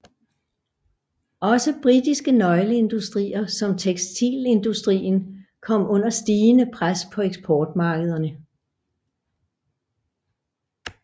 Også britiske nøgleindustrier som tekstilindustrien kom under stigende pres på eksportmarkederne